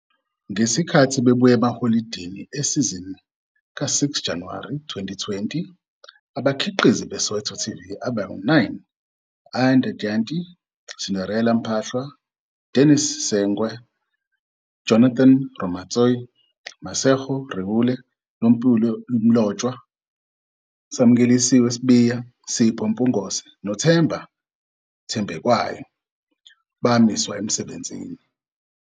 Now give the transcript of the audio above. Ngesikhathi bebuya emaholidini esizini ka-6 Januwari 2020, abakhiqizi be-Soweto TV "abayi-9, Ayanda Dyantyi, Cinderella Mpahlwa, Dennis Segwe, Jonathan Ramotsei, Masego Ruele, Nompilo Mlotshwa, Samulelisiwe Sibiya, Sipho Mpungose noThemba Thanjekwayo" bamiswa emsebenzini.